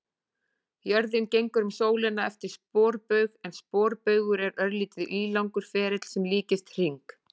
Jörðin gengur um sólina eftir sporbaug en sporbaugur er örlítið ílangur ferill sem líkist hring.